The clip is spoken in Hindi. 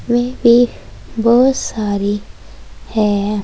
इसमें एक बहुत सारी है।